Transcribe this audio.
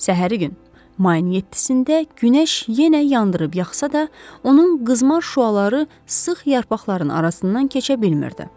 Səhəri gün, mayın 7-də günəş yenə yandırıb yaxsa da, onun qızmar şüaları sıx yarpaqların arasından keçə bilmirdi.